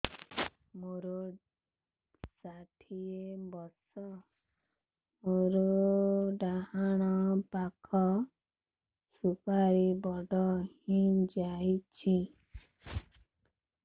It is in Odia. ମୋର ଷାଠିଏ ବର୍ଷ ମୋର ଡାହାଣ ପାଖ ସୁପାରୀ ବଡ ହୈ ଯାଇଛ